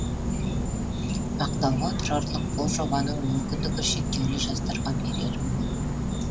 мақтауға тұрарлық бұл жобаның мүмкіндігі шектеулі жастарға берері мол